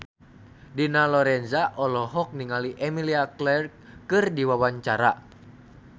Dina Lorenza olohok ningali Emilia Clarke keur diwawancara